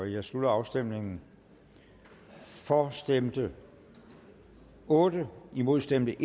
jeg slutter afstemningen for stemte otte imod stemte